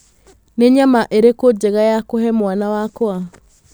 Nĩ nyama ĩrĩkũ njega ya kũhe mwana wakwa